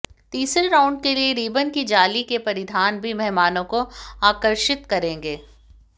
तीसरे राउंड के लिए रिबन की जाली के परिधान भी मेहमानों को आकर्षित करेंगे